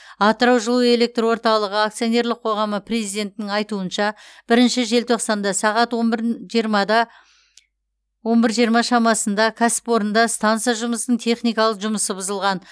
атырау жылу электр орталығы акционерлік қоғамы президентінің айтуынша бірінші желтоқсанда сағат он бір жиырма шамасында кәсіпорында станса жұмысының техникалық жұмысы бұзылған